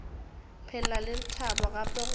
phela le batho gape go